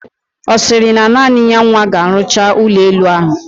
Osiri na naani ya nwa ka alucha ulo elu ahu?